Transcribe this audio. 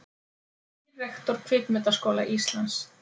Nýr rektor Kvikmyndaskóla Íslands